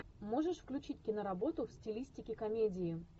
можешь включить киноработу в стилистике комедии